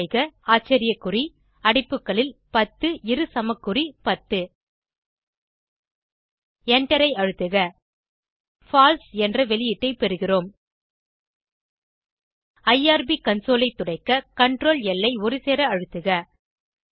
type செய்க ஆச்சரிய குறி அடைப்புகளில் 10 இரு சமக்குறி 10 எண்டரை அழுத்துக பால்சே என்ற வெளியீட்டை பெறுகிறோம் ஐஆர்பி கன்சோல் ஐ துடைக்க CtrlL ஐ ஒருசேர அழுத்துக